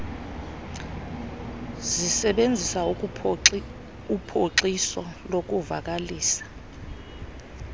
zisebenzisa uphoxiso ukuvakalisa